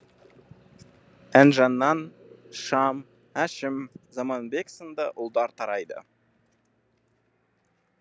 інжінан шам әшім заманбек сынды ұлдар тарайды